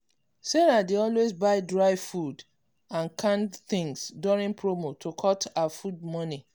sarah dey always buy dry food and canned things during promo to cut her food money.